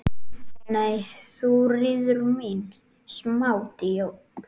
Nei, Þuríður mín, smá djók.